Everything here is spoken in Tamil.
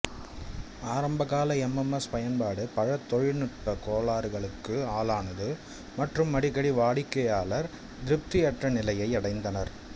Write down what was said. ஆரம்பகால எம்எம்எஸ் பயன்பாடு பல தொழில்நுட்ப கோளாறுகளுக்கு ஆளானது மற்றும் அடிக்கடி வாடிக்கையாளர் திருப்தியற்ற நிலையை அடைந்தனர்